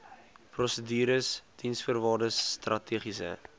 prosedures diensvoorwaardes strategiese